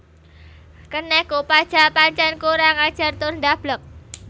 Kenek Kopaja pancen kurang ajar tur ndableg